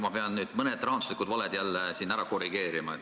Ma pean nüüd mõned rahanduslikud valed siin jälle ära korrigeerima.